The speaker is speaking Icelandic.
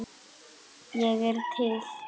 Ég er til.